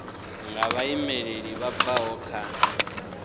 nga vhaimeleli vha bvaho kha